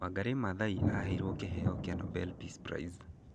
Wangari Maathai aheirũo kĩheo kĩa Nobel Peace Prize.